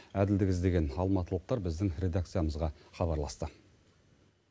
әділдік іздеген алматылықтар біздің редакциямызға хабарласты